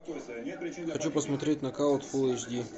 хочу посмотреть нокаут фулл эйч ди